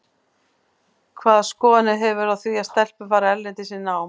Hvaða skoðanir hefurðu á því að stelpur fari erlendis í nám?